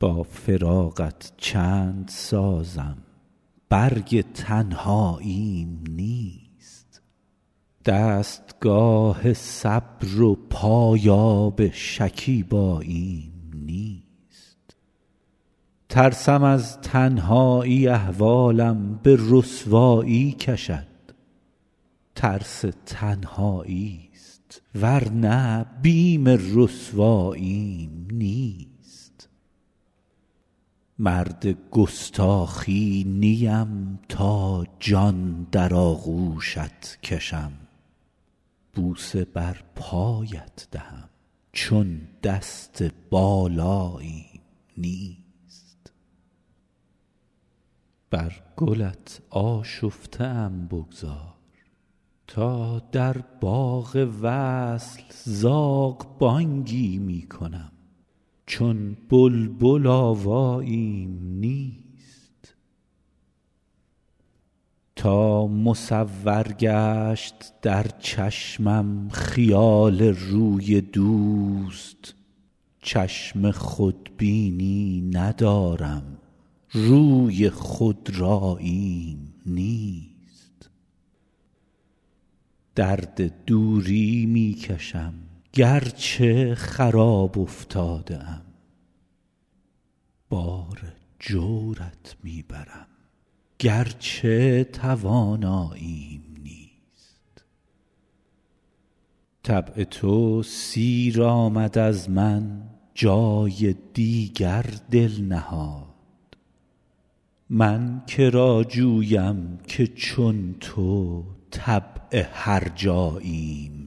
با فراقت چند سازم برگ تنهاییم نیست دستگاه صبر و پایاب شکیباییم نیست ترسم از تنهایی احوالم به رسوایی کشد ترس تنهایی ست ور نه بیم رسواییم نیست مرد گستاخی نیم تا جان در آغوشت کشم بوسه بر پایت دهم چون دست بالاییم نیست بر گلت آشفته ام بگذار تا در باغ وصل زاغ بانگی می کنم چون بلبل آواییم نیست تا مصور گشت در چشمم خیال روی دوست چشم خودبینی ندارم روی خودراییم نیست درد دوری می کشم گر چه خراب افتاده ام بار جورت می برم گر چه تواناییم نیست طبع تو سیر آمد از من جای دیگر دل نهاد من که را جویم که چون تو طبع هرجاییم نیست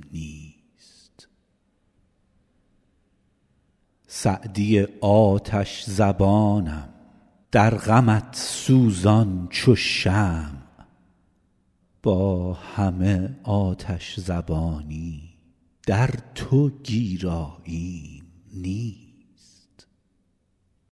سعدی آتش زبانم در غمت سوزان چو شمع با همه آتش زبانی در تو گیراییم نیست